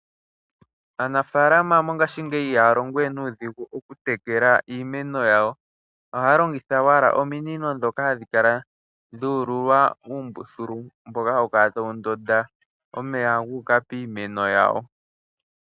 Aanafaalama mongashingeyi ihaya longo we nuudhigu okutekela iimeno yawo. Ohaya longitha owala ominino ndhoka hadhi kala dhu ululwa uumbululu mboka hawu kala tawu ndotha omeya gu uka piimeno yawo.